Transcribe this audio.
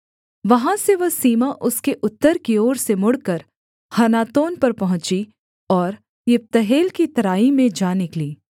वहाँ से वह सीमा उसके उत्तर की ओर से मुड़कर हन्नातोन पर पहुँची और यिप्तहेल की तराई में जा निकली